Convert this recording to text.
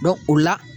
o la